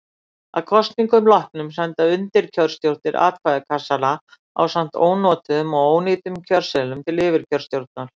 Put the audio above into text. Að kosningum loknum senda undirkjörstjórnir atkvæðakassana ásamt ónotuðum og ónýtum kjörseðlum til yfirkjörstjórnar.